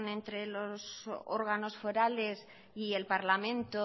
entre los órganos forales y el parlamento